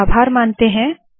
चलिए आभार मानते है